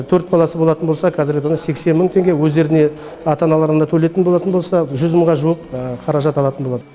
төрт баласы болатын болса қазіргі таңда сексен мың теңге өздеріне ата аналарына төлейтін болатын болса жүз мыңға жуық қаражат алатын болады